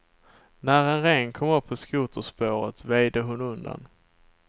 När en ren kom upp på skoterspåret väjde hon undan.